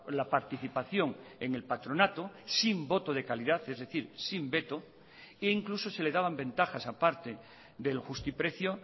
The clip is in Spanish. la participación en el patronato sin voto de calidad es decir sin veto e incluso se le daban ventajas aparte del justiprecio